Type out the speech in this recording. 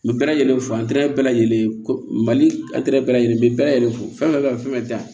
N bɛ bɛɛ lajɛlen fo bɛɛ lajɛlen ko mali bɛɛ lajɛlen bɛ bɛɛ lajɛlen fo fɛn fɛn da